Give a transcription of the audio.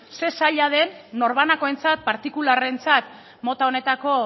zein zaila den norbanakoentzat partikularrentzat mota honetako